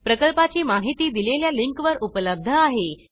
प्रकल्पाची माहिती दिलेल्या लिंकवर उपलब्ध आहे